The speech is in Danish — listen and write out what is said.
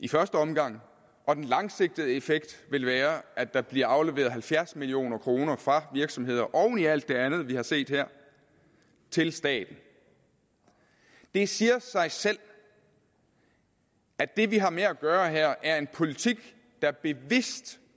i første omgang og den langsigtede effekt vil være at der bliver afleveret halvfjerds million kroner fra virksomheder oven i alt det andet vi har set her til staten det siger sig selv at det vi har med at gøre her er en politik der bevidst